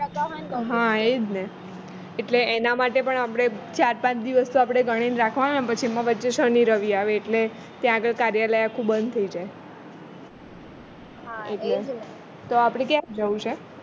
હા એ જ ને એટલે એના માટે પણ આપણે ચાર પાંચ દિવસ તો આપણે ગણીને રાખવાના ને પેછી એમાં વચ્ચે શનિ રવિ આવે એટલે ત્યાં આગળ કાર્યાલય આખું બંધ થઈ જાય તો આપણે ક્યારે જવું છે